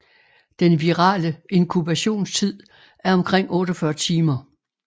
Den virale inkubationstid er omkring 48 timer